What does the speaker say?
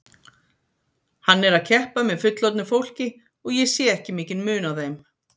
Hann er að keppa með fullorðnu fólki og ég sé ekki mikinn mun á þeim.